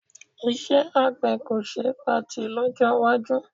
Iṣẹ́ àgbẹ̀ kò ṣe é patì lọ́jọ́ iwájú